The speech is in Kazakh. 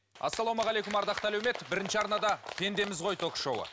ассалаумағалейкум ардақты әлеумет бірінші арнада пендеміз ғой ток шоуы